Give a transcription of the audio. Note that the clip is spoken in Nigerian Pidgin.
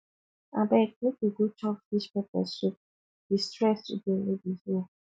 abeg make we go chop fish pepper soup di stress today no be here